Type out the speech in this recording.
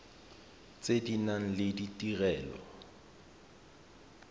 tse di nang le ditirelo